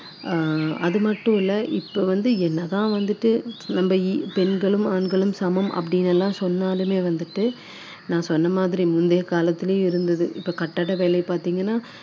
அதோட அதுலயுமே வந்துட்டு பெண்களை வந்து உட்படுத்தணும் அஹ் அப்படிங்குறது ஒரு வேண்டுகோள்